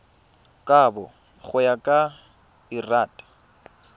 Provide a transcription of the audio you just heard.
kabo go ya ka lrad